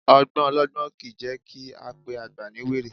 Ọgbọ́n ọlọgbọ́n kìí jẹ́ kí á pe àgbà ní wèrè